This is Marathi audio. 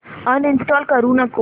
अनइंस्टॉल करू नको